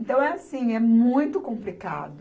Então é assim, é muito complicado.